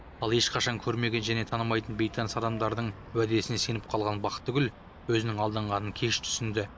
ал ешқашан көрмеген және танымайтын бейтаныс адамдардың уәдесіне сеніп қалған бақтыгүл өзінің алданғанын кеш түсінді